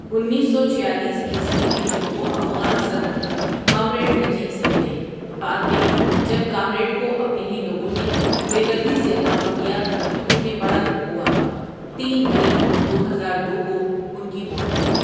انیس سو چھیالیس عیسوی میں وہ افغان صدر کامریڈ نجیب سے ملے بعد میں جب کامریڈ کو اپنے ھی لوگوں نے بیدردی سے قتل کیا تو انھیں بڑا دکھ ہوا تین مٸی دو ہزار دو کو ان کی موت ھوٸی ۔